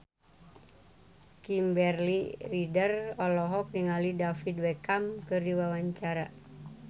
Kimberly Ryder olohok ningali David Beckham keur diwawancara